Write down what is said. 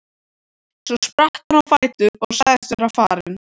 Svo spratt hann á fætur og sagðist vera farinn.